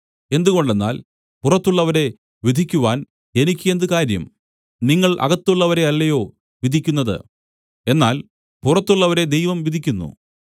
എന്തുകൊണ്ടെന്നാൽ പുറത്തുള്ളവരെ വിധിക്കുവാൻ എനിക്ക് എന്ത് കാര്യം നിങ്ങൾ അകത്തുള്ളവരെ അല്ലയോ വിധിക്കുന്നത് എന്നാൽ പുറത്തുള്ളവരെ ദൈവം വിധിക്കുന്നു